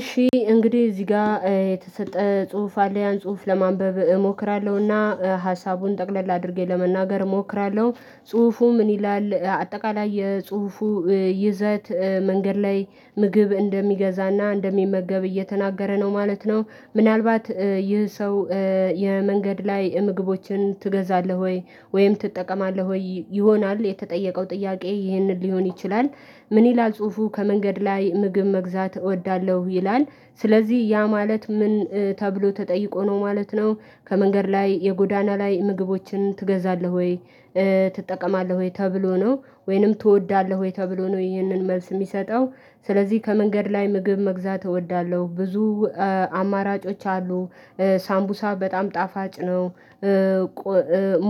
እሺ እንግዲህ እዚህ ጋር የተሰጠ ጽሁፍ አለ ያን ጽሁፍ ለማንበብ እሞክራለሁና ሀሳቡን ጠቅለል አድርጌ ለመናገር እሞክራለሁ ጽሁፉ ምን ይላል አጠቃላይ የጽሁፉ ይዘት መንገድ ላይ ምግብ እንደሚገዛና እንደሚመገብ እየተናገረ ነው ማለት ነው ምናልባት ይህ ሰው የመንገድ ላይ ምግቦችን ትገዛለህ ወይ? ወይም ትጠቀማለህ ወይ? ይሆናል የተጠየቀው ጥያቄ ይህንን ሊሆን ይችላል ምን ይላል ጽሁፉ ከመንገድ ላይ ምግብ መግዛት እወዳለሁ ይላል ስለዚህ ያ ማለት ምን ተብሎ ተጠይቆ ነው ማለት ነው ከመንገድ ላይ የጎዳና ላይ ምግቦችን ትገዛለህ ወይ? ትጠቀማለህ ወይ? ተብሎ ነው ወይንም ትወዳለህ ወይ? ተብሎ ነው ይህንን መልስ የሚሰጠው ስለዚህ ከመንገድ ላይ ምግብ መግዛት እወዳለሁ ብዙ አማራጮች አሉ ሳምቡሳ በጣም ጣፋጭ ነው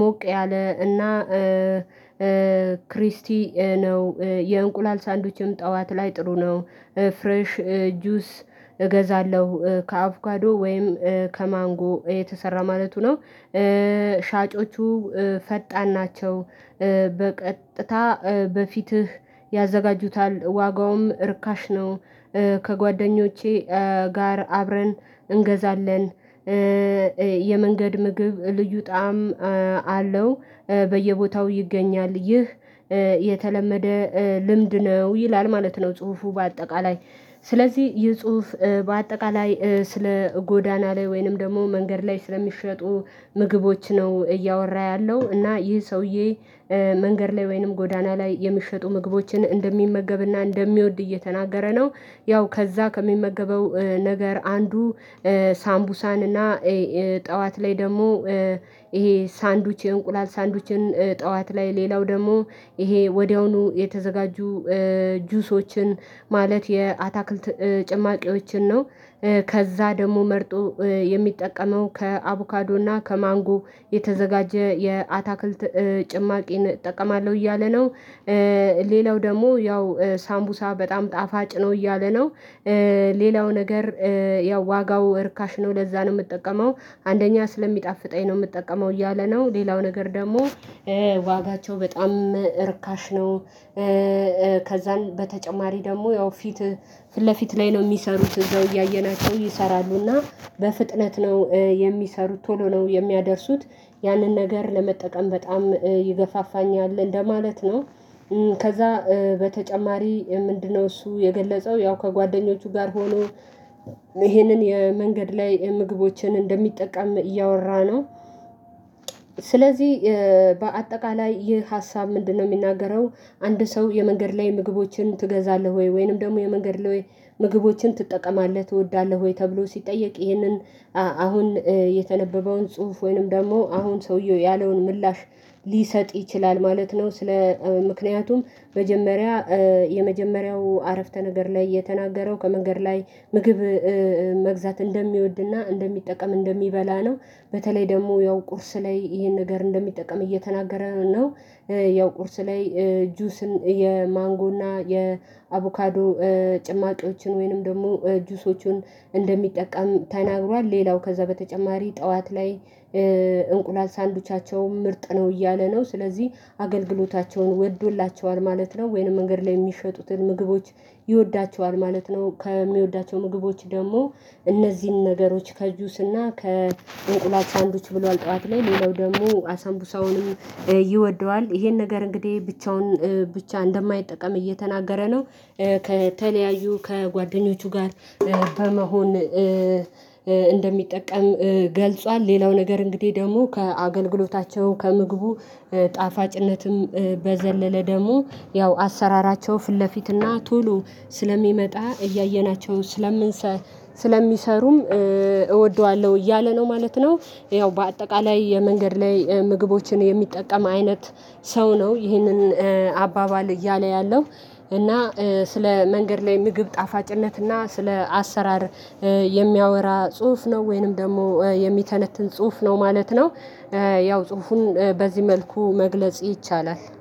ሞቅ ያለ እና ክሪስቲ ነው የእንቁላል ሳንዱችም ጠዋት ላይ ጥሩ ነው ፍሬሽ ጁስ እገዛለሁ ከአቩካዶ ወይም ከማንጎ የተሰራ ማለቱ ነው ሻጮቹ ፈጣን ናቸው በቀጥታ በፊትህ ያዘጋጁታል ዋጋውም እርካሽ ነው ከጓደኞቼ ጋር አብረን እንገዛለን የመንገድ ምግብ ልዩ ጣዕም አለው በየቦታው ይገኛል ይህ የተለመደ ልምድ ነው ይላል ማለት ነው ጽሁፉ በአጠቃላይ ስለዚህ ይህ ጽሁፍ በአጠቃላይ ስለ ጎዳና ላይ ወይንም ደግሞ መንገድ ላይ ስለሚሸጡ ምግቦች ነው እያወራ ያለው እና ይህ ሰውዬ መንገድ ላይ ወይንም ጎዳና ላይ የሚሸጡ ምግቦችን እንደሚመገብና እንደሚወድ እየተናገረ ነው ያው ከዛ ከሚመገበው ነገር አንዱ ሳምቡሳንና ጠዋት ላይ ደግሞ ይሄ ሳንዱች የእንቁላል ሳንዱችን ጠዋት ላይ ሌላው ደግሞ ይሄ ወዲያውኑ የተዘጋጁ ጁሶችን ማለት የአታክልት ጭማቂዎችን ነው ከዛ ደግሞ መርጦ የሚጠቀመው ከአቮካዶና ከማንጎ የተዘጋጀ የአታክልት ጭማቂን እጠቀማለሁ እያለ ነው ሌላው ደግሞ ያው ሳምቡሳ በጣም ጣፋጭ ነው እያለ ነው ሌላው ነገር ያው ዋጋው እርካሽ ነው ለዛ ነው የምጠቀመው አንደኛ ስለሚጣፍጠኝ ነው የምጠቀመው እያለ ነው ሌላው ነገር ደግሞ ዋጋቸው በጣም እርካሽ ነው ከዛን በተጨማሪ ደግሞ ያው ፊት ፊት ለፊት ላይ ነው የሚሰሩት እዛው እያየናቸው ይሰራሉና በፍጥነት ነው የሚሰሩት ቶሎ ነው የሚያደርሱት ያንን ነገር ለመጠቀም በጣም ይገፋፋኛል እንደማለት ነው ከዛ በተጨማሪ ምንድነው እሱ የገለጸው ያው ከጓደኞቹ ጋር ሆኖ ይሄንን የመንገድ ላይ ምግቦችን እንደሚጠቀም እያወራ ነው ስለዚህ በአጠቃላይ ይህ ሀሳብ ምንድነው የሚናገረው አንድ ሰው የመንገድ ላይ ምግቦችን ትገዛለህ ወይ? ወይንም ደግሞ የመንገድ ለወይ ምግቦችን ትጠቀማለህ ትወዳለህ ወይ? ተብሎ ሲጠየቅ ይህንን አሁን የተነበበውን ጽሁፍ ወይንም ደግሞ አሁን ሰውየው ያለውን ምላሽ ሊሰጥ ይችላል ማለት ነው ስለ ምክንያቱም መጀመሪያ የመጀመሪያው አረፍተ ነገር ላይ የተናገረው ከመንገድ ላይ ምግብ መግዛት እንደሚወድና እንደሚጠቀም እንደሚበላ ነው በተለይ ደግሞ ያው ቁርስ ላይ ይሄን ነገር እንደሚጠቀም እየተናገረ ነው ያው ቁርስ ላይ ጁስን የማንጎና የአቮካዶ ጭማቂዎችን ወይንም ደግሞ ጁሶቹን እንደሚጠቀም ተናግሯል ሌላው ከዛ በተጨማሪ ጠዋት ላይ እንቁላል ሳንድዊቻቸውም ምርጥ ነው እያለ ነው ስለዚህ አገልግሎታቸውን ወዶላቸዋል ማለት ነው ወይንም መንገድ ላይ የሚሸጡትን ምግቦች ይወዳቸዋል ማለት ነው ከሚወዳቸው ምግቦች ደግሞ እነዚህን ነገሮች ከጁስና ከእንቁላል ሳንዶች ብሏል ጠዋት ላይ ሌላው ደግሞ አሳምቡሳውንም ይወደዋል ይሄን ነገር እንግዲህ ብቻውን ብቻ እንደማይጠቀም እየተናገረ ነው ከተለያዩ ከጓደኞቹ ጋር በመሆን እንደሚጠቀም ገልጿል ሌላው ነገር እንግዲህ ደግሞ ከአገልግሎታቸው ከምግቡ ጣፋጭነትም በዘለለ ደግሞ ያው አሰራራቸው ፊት ለፊትና ቶሎ ስለሚመጣ እያየናቸው ስለሚሰሩም እወደዋለሁ እያለ ነው ማለት ነው ያው በአጠቃላይ የመንገድ ላይ ምግቦችን የሚጠቀም አይነት ሰው ነው ይህንን አባባል እያለ ያለው እና ስለ መንገድ ላይ ምግብ ጣፋጭነት እና ስለ አሰራር የሚያወራ ጽሁፍ ነው ወይንም ደግሞ የሚተነትን ጽሁፍ ነው ማለት ነው ያው ጽሁፉን በዚህ መልኩ መግለጽ ይቻላል